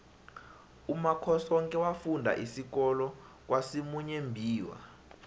umakhosoke wafunda isikolo kwasimuyembiwa